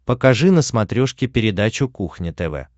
покажи на смотрешке передачу кухня тв